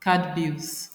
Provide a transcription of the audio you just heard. card bills